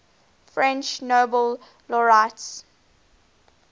french nobel laureates